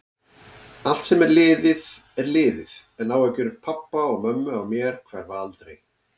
Allt sem er liðið er liðið, en áhyggjur pabba og mömmu af mér hverfa aldrei.